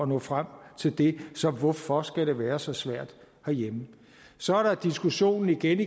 nå frem til det så hvorfor skal det være så svært herhjemme så er der diskussionen igen